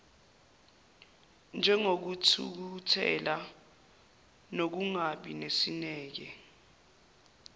njengokuthukuthela nokungabi nesineke